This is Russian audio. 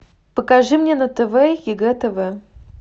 покажи мне на тв егэ тв